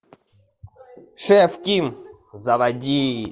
шеф ким заводи